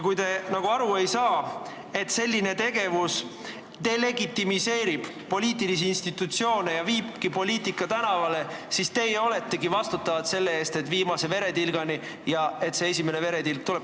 Kui te aru ei saa, et selline tegevus delegitimeerib poliitilisi institutsioone ja viibki poliitika tänavale, siis teie oletegi vastutavad selle eest, et viimse veretilgani ja ka see esimene veretilk tuleb.